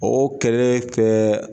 O kɛlɛ kɛ.